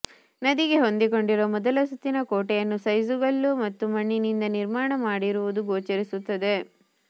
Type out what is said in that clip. ನದಿಗೆ ಹೊಂದಿಕೊಂಡಿರುವ ಮೊದಲ ಸುತ್ತಿನ ಕೋಟೆಯನ್ನು ಸೈಜುಕಲ್ಲು ಮತ್ತು ಮಣ್ಣಿ ನಿಂದ ನಿರ್ಮಾಣ ಮಾಡಿರುವುದು ಗೋಚರಿಸುತ್ತದೆ